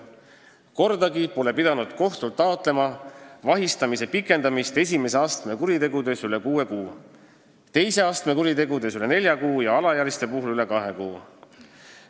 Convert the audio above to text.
Nimelt, kordagi pole vaja olnud kohtult taotleda vahi all olemise pikendamist esimese astme kuritegude puhul üle kuue kuu, teise astme kuritegude puhul üle nelja kuu ja alaealiste kuritegude puhul üle kahe kuu.